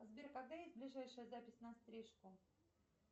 сбер когда есть ближайшая запись на стрижку